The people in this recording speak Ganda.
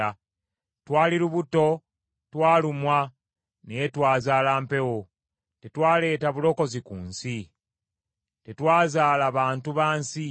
Twali lubuto, twalumwa, naye twazaala mpewo Tetwaleeta bulokozi ku nsi, tetwazaala bantu ba nsi.